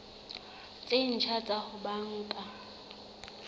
tse ntjha tsa ho banka